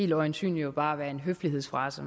det øjensynligt bare vil være en høflighedsfrase